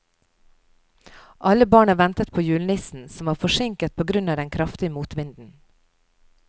Alle barna ventet på julenissen, som var forsinket på grunn av den kraftige motvinden.